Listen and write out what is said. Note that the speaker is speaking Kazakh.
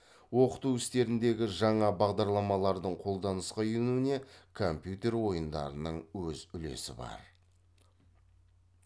оқыту істеріндегі жаңа бағдарламалардың қолданысқа енуіне компьютер ойындарының өз үлесі бар